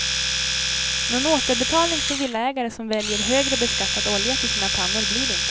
Någon återbetalning till villaägare som väljer högre beskattad olja till sina pannor blir det inte.